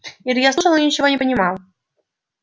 илья слушал и ничего не понимал